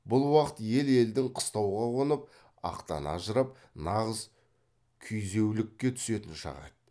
бұл уақыт ел елдің қыстауға қонып ақтан ажырап нағыз күйзеулікке түсетін шағы еді